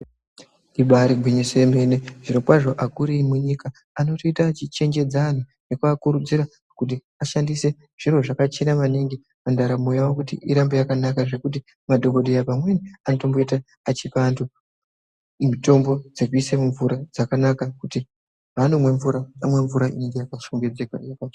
Ibari gwinyiso remene zviro kwazvo akuru emunyika anoita achichenjedza vantu nekuvakurudzira kuti vashandise zviro zvakachena maningi pandaramo yawo kuti irambe yakanaka zvekuti madhokodheya pamweni aitomboita achipa antu mitombo dzekuisa mumvura dzakanaka kuti panomwa mvura anomwa mvura inenge yakashongedzeka.